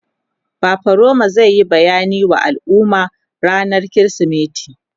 fafaroma zai Yi bayani wa al'umma rannan krismeti